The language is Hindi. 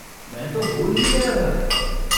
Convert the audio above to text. मैं तो भूल ही गया था।